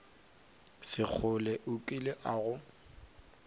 sekgole o kile a go